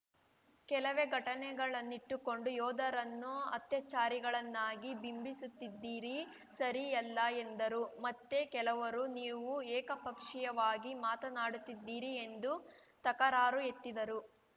ಕೆಲವೇ ಘಟನೆಗಳನ್ನಿಟ್ಟುಕೊಂಡು ಯೋಧರನ್ನು ಅತ್ಯಾಚಾರಿಗಳನ್ನಾಗಿ ಬಿಂಬಿಸುತ್ತಿದ್ದೀರಿ ಸರಿಯಲ್ಲ ಎಂದರು ಮತ್ತೆ ಕೆಲವರು ನೀವು ಏಕಪಕ್ಷೀಯವಾಗಿ ಮಾತನಾಡುತ್ತಿದ್ದೀರಿ ಎಂದು ತಕರಾರು ಎತ್ತಿದರು